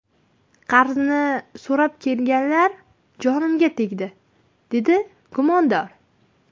Qarzni so‘rab kelganlar jonimga tegdi”, − dedi gumondor.